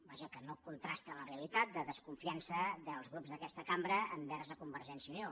vaja que no contrasta amb la realitat de desconfiança dels grups d’aquesta cambra envers convergència i unió